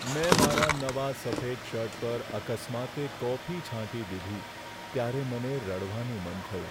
મેં મારા નવા સફેદ શર્ટ પર અકસ્માતે કોફી છાંટી દીધી, ત્યારે મને રડવાનું મન થયું.